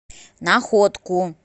находку